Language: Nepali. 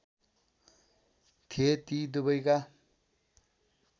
थिए ती दुबैका